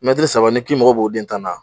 Mɛtiri saba n'i k'i mago b'o den tan na